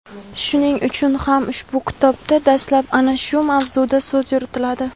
Shuning uchun ham ushbu kitobda dastlab ana shu mavzuda so‘z yuritiladi.